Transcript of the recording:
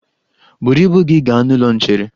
Buru ibu gi ga n'ụlọ nchere!